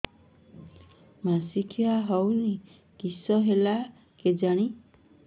ମାସିକା ହଉନି କିଶ ହେଲା କେଜାଣି